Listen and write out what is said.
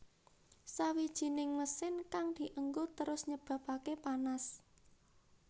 Sawijining mesin kang dienggo terus nyebabake panas